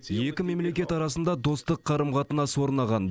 екі мемлекет арасында достық қарым қатынас орнаған